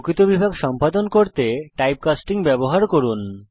প্রকৃত বিভাগ সম্পাদন করতে টাইপকাস্টিং ব্যবহার করুন